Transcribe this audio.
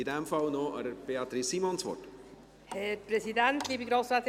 In diesem Fall gebe ich Beatrice Simon noch das Wort.